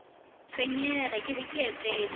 tshwenyege ke be ke etetše